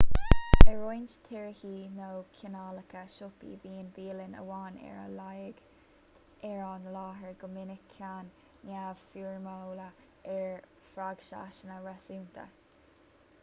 i roinnt tíortha nó cineálacha siopaí bíonn bialann amháin ar a laghad ar an láthair go minic ceann neamhfhoirmiúil ar phraghsanna réasúnta